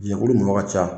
Jɛnkulu mɔgɔ ka ca